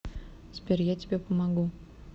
сбер я тебе помогу